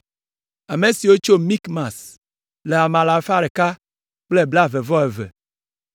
Ame siwo tso Mikmas le ame alafa ɖeka kple blaeve-vɔ-eve (122).